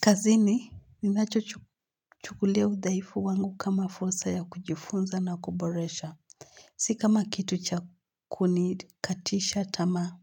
Kazini ninacho chukulao udhaifu wangu kama fursa ya kujifunza na kuboresha. Si kama kitu cha kunikatisha tamaa.